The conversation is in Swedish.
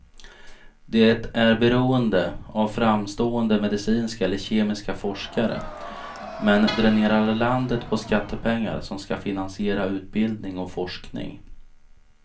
Det är beroende av framstående medicinska eller kemiska forskare, men dränerar landet på skattepengar som ska finansiera utbildning och forskning.